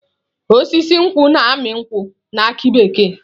Osisi nkwu na-amị nkwu na aki bekee.